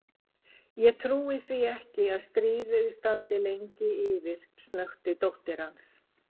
Ég trúi því ekki að stríðið standi lengi yfir snökti dóttir hans.